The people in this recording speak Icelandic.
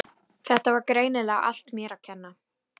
Þetta var greinilega allt mér að kenna.